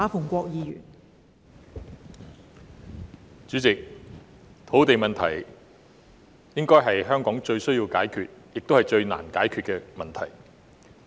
代理主席，土地問題應該是香港最急需及最難解決的問題。